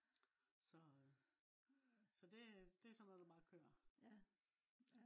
så så det det er sådan noget der bare kører